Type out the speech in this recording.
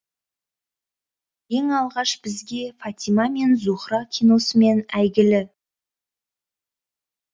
ең алғаш бізге фатима мен зухра киносымен әйгілі